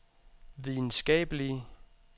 videnskabelige